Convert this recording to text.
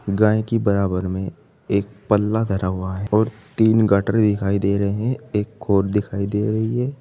गाय की बराबर में एक पल्ला धरा हुआ है और तीन गाटरे दिखाई दे रहे है एक दिखाई दे रही है।